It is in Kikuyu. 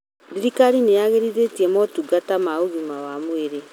Thirikari nĩyagĩrithĩtie motungata ma ũgima wa mwĩrĩ